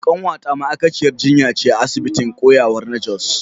Kanwata ma’aikaciyar jinya ce a asibitin koyarwa na Jos.